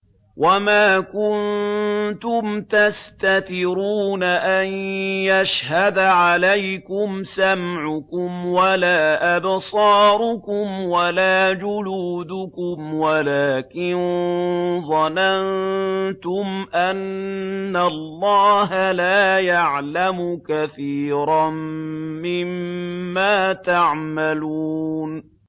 وَمَا كُنتُمْ تَسْتَتِرُونَ أَن يَشْهَدَ عَلَيْكُمْ سَمْعُكُمْ وَلَا أَبْصَارُكُمْ وَلَا جُلُودُكُمْ وَلَٰكِن ظَنَنتُمْ أَنَّ اللَّهَ لَا يَعْلَمُ كَثِيرًا مِّمَّا تَعْمَلُونَ